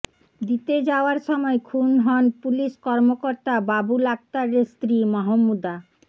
দিতে যাওয়ার সময় খুন হন পুলিশ কর্মকর্তা বাবুল আক্তারের স্ত্রী মাহমুদা